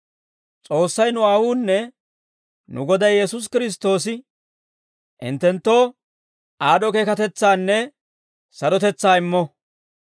S'oossay, nu Aawuunne nu Goday Yesuusi Kiristtoosi hinttenttoo aad'd'o keekatetsaanne sarotetsaa immo.